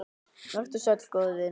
Vertu sæll, góði vinur.